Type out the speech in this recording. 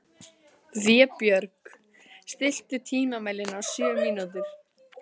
Vébjörg, stilltu tímamælinn á sjö mínútur.